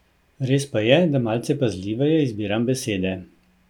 Res pa je, da malce pazljiveje izbiram besede.